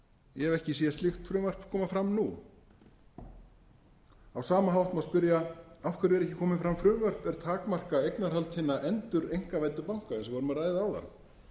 ég hef ekki séð slíkt frumvarp koma fram nú á sama hátt má spyrja af hverju er ekki komið fram frumvarp er takmarkar eignarhald hinna endureinkavæddu banka eins og við vorum að ræða